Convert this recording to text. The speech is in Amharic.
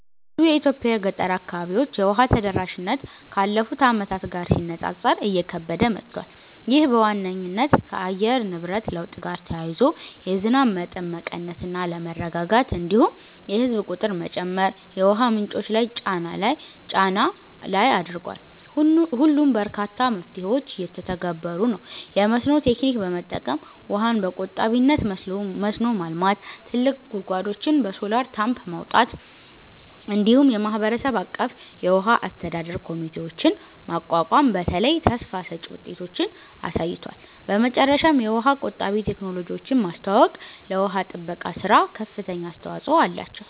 በብዙ የኢትዮጵያ ገጠር አካባቢዎች የውሃ ተደራሽነት ካለፉት ዓመታት ጋር ሲነጻጸር እየከበደ መጥቷል። ይህ በዋነኝነት ከአየር ንብረት ለውጥ ጋር ተያይዞ የዝናብ መጠን መቀነስ እና አለመረጋጋት፣ እንዲሁም የህዝብ ቁጥር መጨመር የውሃ ምንጮች ላይ ጫና ላይ አድርጓል። ሆኖም በርካታ መፍትሄዎች እየተተገበሩ ነው፤ የመስኖ ቴክኒክ በመጠቀም ውሃን በቆጣቢነት መስኖ ማልማት፣ ጥልቅ ጉድጓዶችን በሶላር ፓምፕ ማውጣት፣ እንዲሁም የማህበረሰብ አቀፍ የውሃ አስተዳደር ኮሚቴዎችን ማቋቋም በተለይ ተስፋ ሰጭ ውጤቶችን አሳይተዋል። በመጨረሻም የውሃ ቆጣቢ ቴክኖሎጂዎችን ማስተዋወቅ ለውሃ ጥበቃ ሥራ ከፍተኛ አስተዋጽኦ አላቸው።